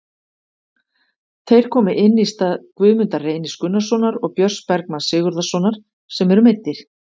Þeir komu inn í stað Guðmundar Reynis Gunnarssonar og Björns Bergmanns Sigurðarsonar sem eru meiddir.